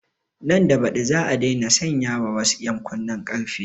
Nan da baɗi za a daina sanya wasu ƴan kunnen ƙarfen